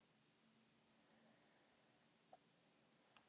Það þykir skólabræðrunum töluverð drýldni.